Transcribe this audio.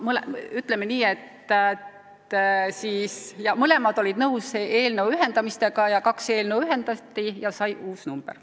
Ütleme nii, et mõlemad algatajad olid nõus eelnõude ühendamisega, kaks eelnõu ühendatigi ja dokumendile pandi uus number.